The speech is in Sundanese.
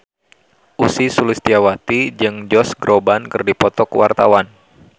Ussy Sulistyawati jeung Josh Groban keur dipoto ku wartawan